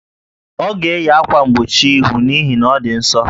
Ọ ga-eyi ákwà mgbochi íhù n'ihi na ọ dị ǹsọ́